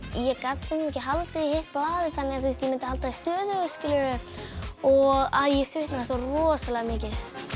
ég gat stundum ekki haldið í hitt blaðið þannig að ég myndi halda því stöðugu og að ég svitnaði svo rosalega mikið